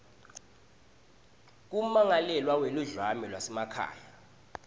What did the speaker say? kwemmangalelwa weludlame lwasekhaya